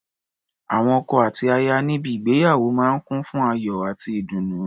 Awọn ọkọ àti aya níbi ígbéyàwó máa ń kùn fún ayò àti ìdùnnú.